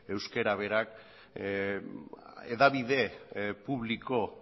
euskera berak hedabide publiko